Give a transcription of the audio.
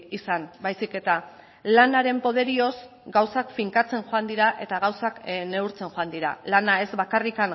izan baizik eta lanaren poderioz gauzak finkatzen joan dira eta gauzak neurtzen joan dira lana ez bakarrik